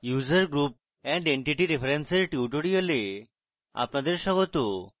user group and entity reference এর tutorial আপনাদের স্বাগত